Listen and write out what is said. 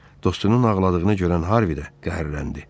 Dostunun ağladığını görən Harvidə qəhrləndi.